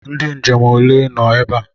Ndị nje m ole nọ ebe a?